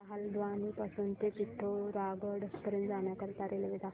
मला हलद्वानी पासून ते पिठोरागढ पर्यंत जाण्या करीता रेल्वे दाखवा